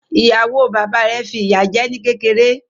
Ìyàwó bàbá rẹ̀ fi ìyá jẹ́ ní kékeré.